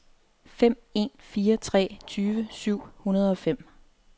fem en fire tre tyve syv hundrede og fem